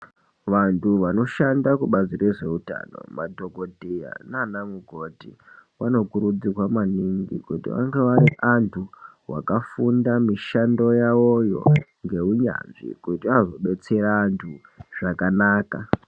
Vantu vanosahnda kubazi rezvehutano madhokodheya nana mukoti vanokurudzirwa maningi kuti vange vari vantu vakafunda mishando yawo yo ngeunyanzvi kuti azodetsera antu zvakanaka.